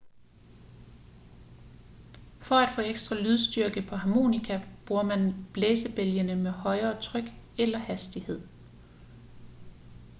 for at få ekstra lydstyrke på harmonika bruger man blæsebælgene med højere tryk eller hastighed